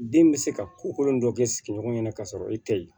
Den bɛ se ka ko kolon dɔ kɛ sigiɲɔgɔn ye ka sɔrɔ e tɛ ye